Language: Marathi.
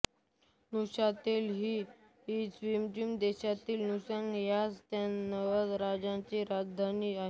नूशातेल ही स्वित्झर्लंड देशाच्या नूशातेल ह्याच नावाच्या राज्याची राजधानी आहे